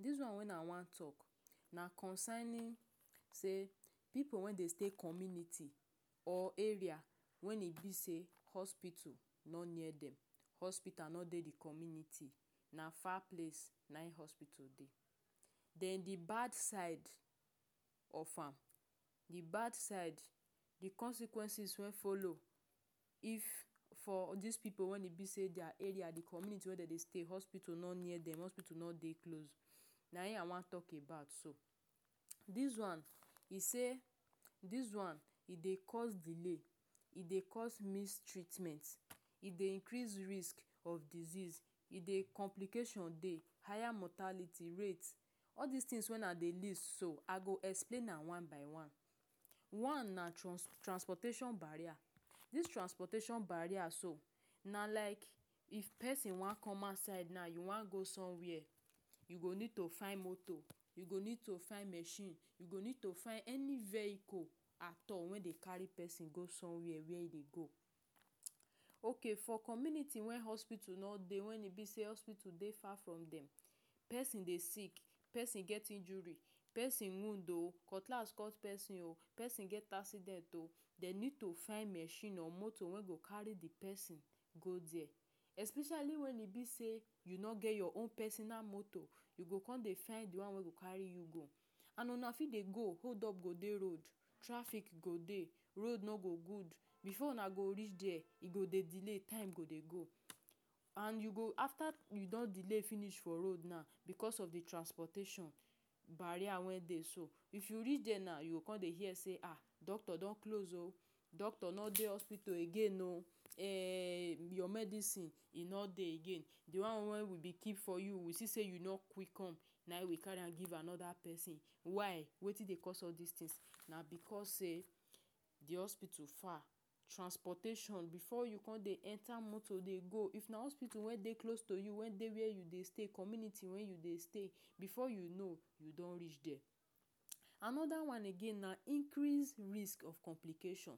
Dis one wen I wan talk na concerning say pipu wen dey stay community or area when e be say, hospital no near dem. Hospital no dey the community. Na far place nayin hospital dey. Then the bad side of am. The bad side, the consequences wen follow if for dis pipu wen e be say there area the community wen dey dey stay hospital no near dem. Hospital no dey close na him I wan talk about so. Dis one be say, dis one, e dey cause delay, e dey cause miss treatment, e dey increase risk of disease. E dey… complication dey. Higher mortality rate. All these things when I dey list so I go explain am one by one. One na trans transportation barrier. Dis transportation barrier so na like if pesin wan come outside na, you wan go somewhere. You go need to find moto. You go need to find machine. You go need to find any vehicle at all wen dey carry pesin go somewhere where e dey go. Okay for community wen hospital no dey wen e be say hospital dey far from dem. Pesin dey sick, pesin get injury. Pesin wound oh! Cutlass cut pesin oh!. Pesin get accident oh! Dey need to find machine or moto wen go carry the pesin go there especially when e be say, you no get your own personal moto. You go con dey find the one wey go carry you go. And una fit dey go, hold up go dey road. Traffic go dey, road no go good. Before una go reach there, e go dey delay. Time go dey go. And you go… after you don delay finish for road now because of the transportation barrier wey dey so. If you reach there now you go dey say um! Doctor don close oh! Doctor no dey hospital again oh! Um Your medisin e no dey again. The one wey we been keep for you, we see say you no quick come na him we carry am give another pesin. Why? Wetin dey cause all dis thing? Na because say the hospital far. Transportation befor you con dey enter dey go. If na hospital wey dey close to you. Wey dey where you dey stay. Wey dey your community you dey stay, before you know you don reach there. Another one again na increase risk of complication.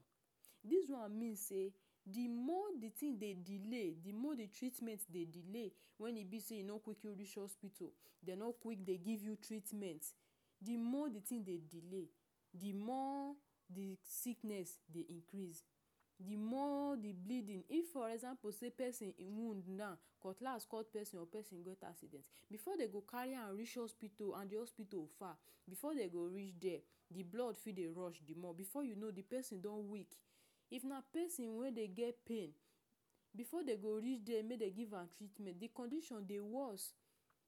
Dis one mean say, the more the thing dey delay, the more the treatment dey delay when e be say you no quick reach hospital. Dem no quick dey give you treatment. The more the thing dey delay. The more the sickness dey increase. The more the bleeding if for example pesin even wound now. Cutlass cut pesin or pesin get accident before dey go carry am reach hospital and the hospital far. Before dey go reach there the blood fit dey rush the more. Before you know, the pesin don weak. If na pesin wey dey get pain. Before dey go reach there may dey give am treatment the condition dey worse.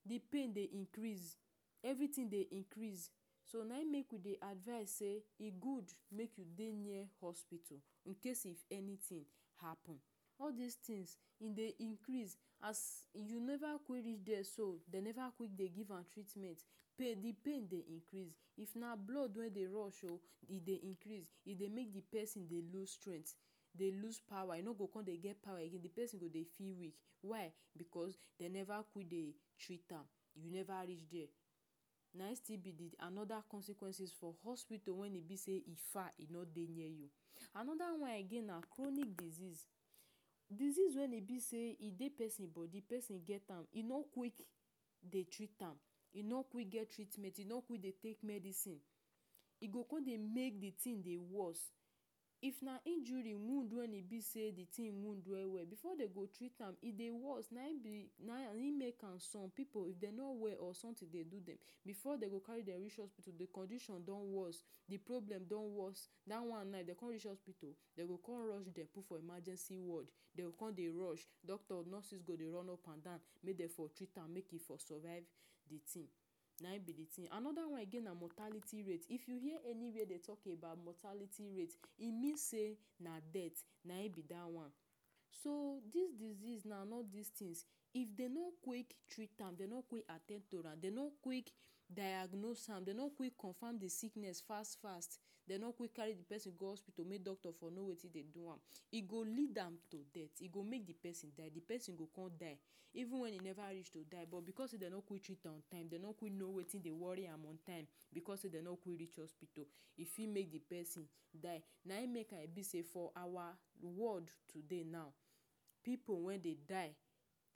The pain dey increase everything dey increase. So, na him make we dey advise say e good make you dey near hospital in case if anything happen. All dis things e dey increase. As you never quick reach there so, dey never quick dey give am treatment. Pain the pain dey increase. If na blood wey dey rush oh! E dey increase. E dey make the pesin dey lose strength. E dey lose power. E no go con dey get power again. The pesin go dey feel weak. Why? Because dey never quick dey treat am. You never reach there. Na him still be the another consequences for hospital wen e be sey e far e no dey near you. Another one again na chronic disease. Disease wey e be say, e dey pesin body. Pesin get am. E no quick dey treat am. E no quick get treatment. E no quick dey take medisin. E go con dey make the thing dey worse. If na injury wound wen e be say the thing wound well well, before dey go treat am, e dey worse. Na im be na im make am some pipu if dey no well or something dey do dem before dey go carry am reach hospital the condition don worse, the problem don worse. Dat one now if dey con reach hospital dey go con rush dem put for emergency ward. Dem go con dey rush, doctors, nurses go dey run upandan. May dem for treat am make e for survive the thing. Na him be the thing. Another one again na mortality rate. If you hear anywhere dey talk about mortality rate e mean say na death na im be dat one. So, dis disease and all dis thing if dey no quick treat am, dey no quick at ten d to am. Dey no quick diagnose am. Dey no quick confirm the sickness fast-fast. Dey no quick carry pesin go hospital make doctor for know wetin dey do am. E go lead am to death. E go make the pesin die. The pesin go con die even if e never reach to die but because dey no quick treat am on time. Dey no quick know wetin dey worry am on time. Because dey no quick reach hospital e fit make the pesin die. Na him make I be say for our ward today now, pipu wen dey die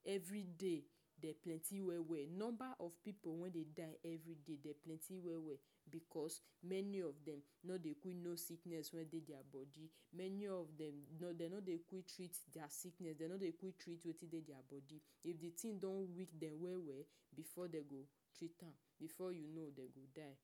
everyday. Dey plenty well well. The number of pipu wen dey die everyday dem plenty well well. Because many of dem no dey quick know sickness wey dey their body. Many of dem dey no dey quick treat dat sickness. Dey no dey quick treat wetin dey their body. If the thing don weak dem well well before dem go treat am before you know dem go die.